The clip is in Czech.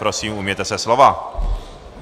Prosím, ujměte se slova.